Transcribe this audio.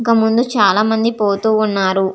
ఇంకా ముంద చాల మంది పోతు వున్నారు.